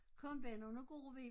Kom Benno nu går vi